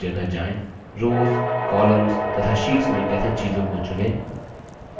rows columns तथा sheets में कैसे चीजों को चुनें